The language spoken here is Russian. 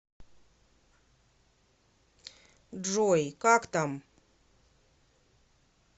джой как там